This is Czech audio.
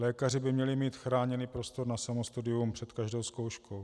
Lékaři by měli mít chráněný prostor na samostudium před každou zkouškou.